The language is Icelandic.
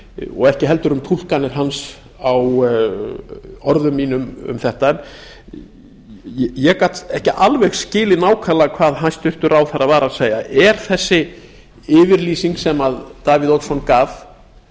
og ekki heldur um túlkanir hans á orðum mínum um þetta ég gat ekki alveg skilið nákvæmlega hvað hæstvirtur ráðherra var að segja er þessi yfirlýsing sem davíð oddsson gaf